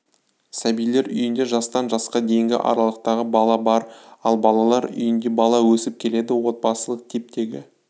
сәбилер үйінде жастан жасқа дейінгі аралықтағы бала бар ал балалар үйінде бала өсіп келеді отбасылық типтегі